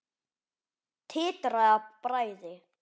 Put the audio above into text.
Titraði af bræði.